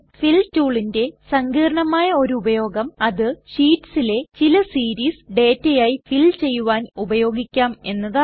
ഫിൽ ടൂളിൻറെ സങ്കീർണ്ണമായ ഒരു ഉപയോഗം അത് ഷീറ്റ്സിലെ ചില സീരീസ് ഡേറ്റയായി ഫിൽ ചെയ്യുവാൻ ഉപയോഗിക്കാം എന്നതാണ്